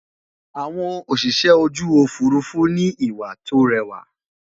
àwọn Òṣìṣẹ́ ojú òfurufú nà ni ìwà tó réwà